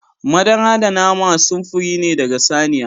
Madara da nama samfurori ne daga saniya.